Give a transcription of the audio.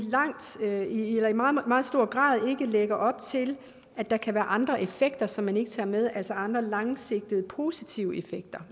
meget meget stor grad ikke lægger op til at der kan være andre effekter som man ikke tager med altså andre langsigtede positive effekter